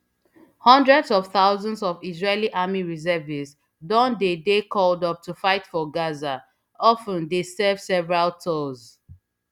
hundreds of thousands of israeli army reservists don dey dey called up to fight for gaza of ten dey serve several tours